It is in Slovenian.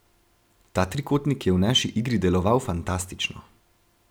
Ta trikotnik je v naši igri deloval fantastično.